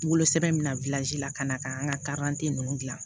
Wolosɛbɛn min na la ka na ka an ka ninnu dilan